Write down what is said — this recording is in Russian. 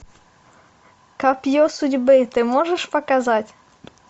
копье судьбы ты можешь показать